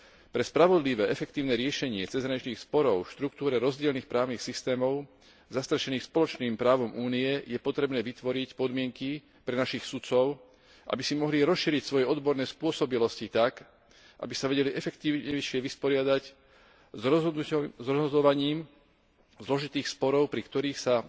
Pre spravodlivé efektívne riešenie cezhraničných sporov v štruktúre rozdielnych právnych systémov zastrešených spoločným právom Únie je potrebné vytvoriť podmienky pre našich sudcov, aby si mohli rozšíriť svoje odborné spôsobilosti tak, aby sa vedeli efektívnejšie vysporiadať s rozhodovaním zložitých sporov, pri ktorých sa